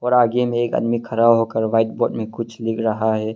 आगे मे एक आदमी खड़ा होकर व्हाइट बोर्ड मे कुछ लिख रहा है।